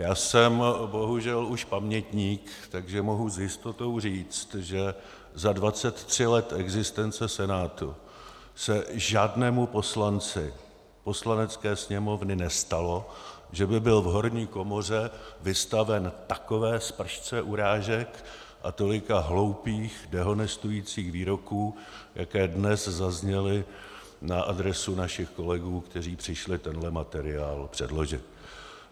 Já jsem bohužel už pamětník, takže mohu s jistotou říct, že za 23 let existence Senátu se žádnému poslanci Poslanecké sněmovny nestalo, že by byl v horní komoře vystaven takové spršce urážek a tolika hloupých dehonestujících výroků, jaké dnes zazněly na adresu našich kolegů, kteří přišli tenhle materiál předložit.